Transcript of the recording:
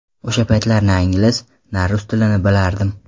O‘sha paytlari na ingliz, na rus tilini bilardim.